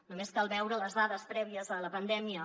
només cal veure les dades prèvies a la pandèmia